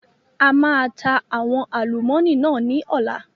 A máa ta àwọn àlùmọ́nì náà ni ọ̀la